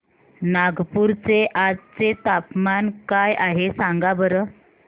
नागपूर चे आज चे तापमान काय आहे सांगा बरं